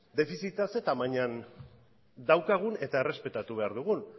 defizita zein tamainan daukagun eta errespetatu behar dugun